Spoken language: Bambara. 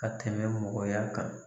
Ka tɛmɛ mɔgɔya kan.